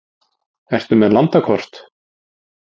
Ertu með landakort?